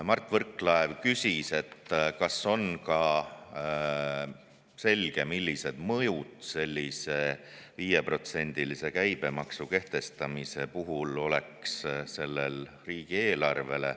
Mart Võrklaev küsis, kas on ka selge, millised mõjud sellise 5%‑lise käibemaksu kehtestamisel oleks riigieelarvele.